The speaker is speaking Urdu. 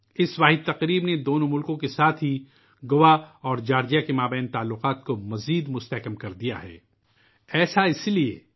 اس واحد تقریب نے نہ صرف دو ممالک کے درمیان بلکہ گوا اور جارجیا کے مابین تعلقات کو بھی مضبوط کیا